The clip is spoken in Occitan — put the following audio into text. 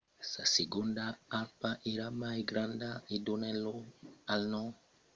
sa segonda arpa èra mai granda e donèt lòc al nom hesperonychus que significa arpa occidentala.